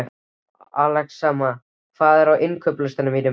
Axelma, hvað er á innkaupalistanum mínum?